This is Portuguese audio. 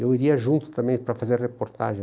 Eu iria junto também para fazer a reportagem.